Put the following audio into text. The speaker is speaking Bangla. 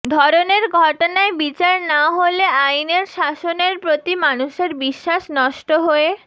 ধরনের ঘটনায় বিচার না হলে আইনের শাসনের প্রতি মানুষের বিশ্বাস নষ্ট হয়ে